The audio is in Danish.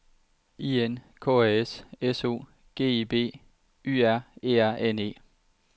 I N K A S S O G E B Y R E R N E